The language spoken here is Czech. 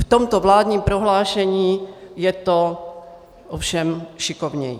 V tomto vládním prohlášení je to ovšem šikovněji.